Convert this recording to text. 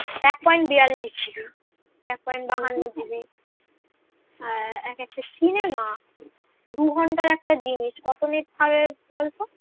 আহ এক একটা cinema দুঘণ্টার একটা জিনিস কত net খাবে বলতো